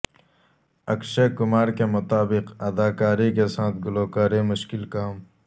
اکشے کمار کے مطابق اداکاری کے ساتھ گلوکاری مشکل کام